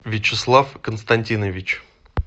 вячеслав константинович